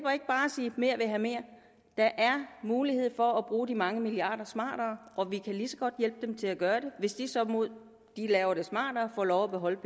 sige mere vil have mere der er mulighed for at bruge de mange milliarder smartere og vi kan lige så godt hjælpe dem til at gøre det hvis de så mod at de laver det smartere får lov at beholde